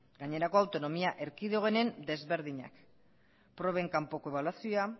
gainerako autonomia erkidegoenen ezberdinak proben kanpoko ebaluazioa